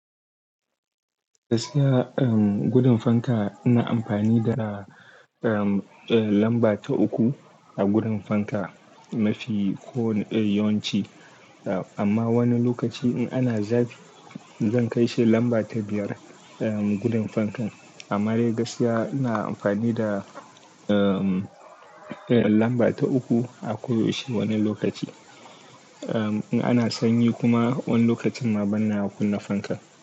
Gaskiya, um, gudun fanka ina amfani da, um, eh, lamba ta uku a gudun fanka mafi ko yawanci. Amma wani lokaci in ana zafi, zan kai shi lamba ta biyar, um, gudun fankan. Amma dai gaskiya ina amfani da, um, eh, lamba ta uku a koyaushe. Wani lokaci, um, in ana sanyi kuma wani lokacin ma banna kunna fanka.